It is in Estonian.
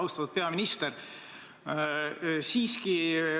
Austatud peaminister!